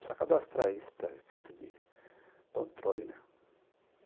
Precisa cadastrar isso para efeito de controle, né.